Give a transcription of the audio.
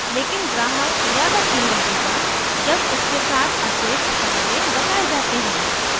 लेकिन ग्राहक ज़्यादा कीमत देगा जब उसके साथ अतिरिक्त फायदे बताये जाते हैं